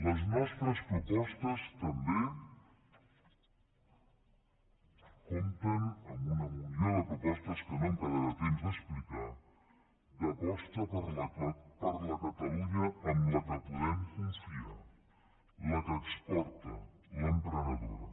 les nostres propostes també compten amb una munió de propostes que no em quedarà temps d’explicar d’aposta per la catalunya en la qual podem confiar la que exporta l’emprenedora